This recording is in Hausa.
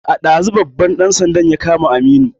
Ɗazu babban ɗan sanda ya kama Aminu